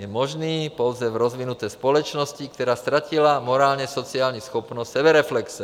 Je možný pouze v rozvinuté společnosti, která ztratila morálně-sociální schopnost sebereflexe.